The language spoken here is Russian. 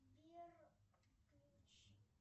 сбер включи